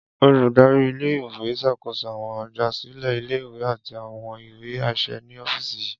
Oludari ile-iwe n ṣakoso awọn igbasilẹ ile-iwe ati awọn iwe aṣẹ ni ọfíìsì yii.